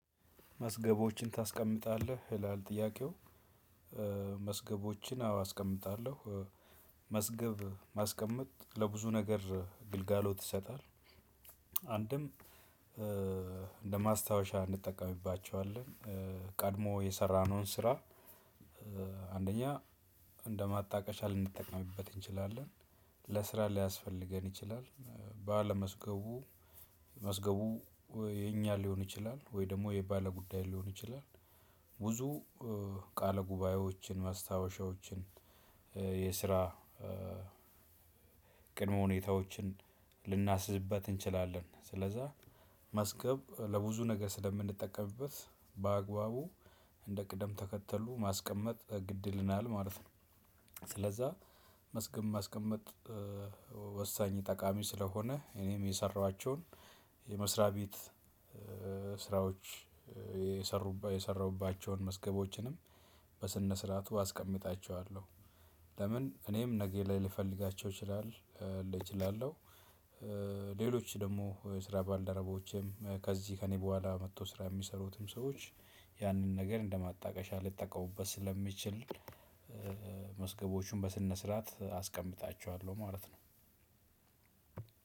መዝገቦችን ታስቀምጣለህ? ይላል ጥያቄው መዝገቦችን አዎ አስቀምጣለሁ። መዝገብ ማስቀመጥ ለብዙ ነገር ግልጋሎት ይሰጣል። አንድም እንደማስታወሻ እንጠቀምባቸዋለን። ቀድሞ የሰራነውን ስራ። አንደኛ እንደማጣቀሻ ልንጠቀምበት እንችላለን። ለስራ ሊያስፈልገን ይችላል ባለመዝገቡ መዝገቡ የኛ ሊሆን ይችላል ወይ ደግሞ የባለጉዳይ ሊሆን ይችላል። ብዙ ቃለ ጉባኤዎችን ማስታወሻዎችን የስራ ቅድመ ሁኔታዎችን ልናሲዝበት እንችላለን። ስለዛ መዝገብ ለብዙ ነገር ስለምንጠቀምበት በአግባቡ እንደ ቅደም ተከተሉ ማስቀመጥ ግድ ይለናል ማለት ነው። ስለዛ መዝገም ማስቀመጥ። ወሳኝ ጠቃሚ ስለሆነ እኔም የሰራኋቸውን የመስሪያ ቤት ስራዎች የሰሩባቸውን መዝገቦችንም በስነ ስርዓቱ አስቀምጣቸዋለሁ። ለምን እኔም ነጌ ላይ ልፈልጋቸው እችላለሁ። ሌሎች ደግሞ የስራ ባልደረቦቼም ከዚህ ከእኔ በኋላ መጥቶ ስራ የሚሰሩትም ሰዎች ያንን ነገር እንደማጣቀሻ ሊጠቀሙበት ስለሚችል። ስርዓት አስቀምጣችኋለሁ ማለት ነው።